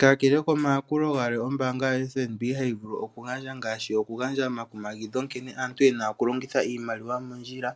Kakele komayakulo galwe ombaanga yo FNB hayi vulu okugandja ngaashi oku gandja omakumagidho nkene aantu yena oku longitha iimaliwa mondjila